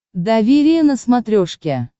доверие на смотрешке